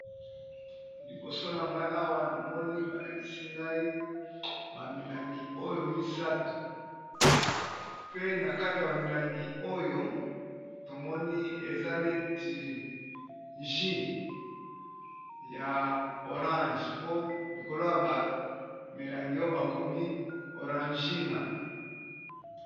Liboso na ngai awa na moni balakisi ngai ba milangi oyo misatu pe na kati ya ba milangi oyo tomoni eza neti juis ya orange po likolo ya ba milangi oyo bakomi orangina.